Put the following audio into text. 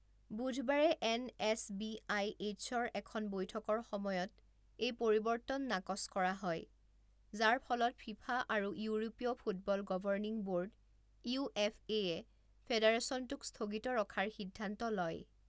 বুধবাৰে N S B I এইচৰ এখন বৈঠকৰ সময়ত এই পৰিৱৰ্তন নাকচ কৰা হয়, যাৰ ফলত ফিফা আৰু ইউৰোপীয় football governing board U F এয়ে ফেডাৰেচনটোক স্থগিত ৰখাৰ সিদ্ধান্ত লয়।